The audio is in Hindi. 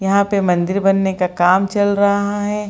यहाँ पे मंदिर बनने का काम चल रहा है।